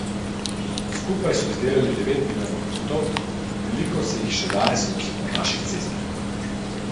Skupaj so izdelali devet milijonov puntov, veliko se jih še danes vozi po naših cestah.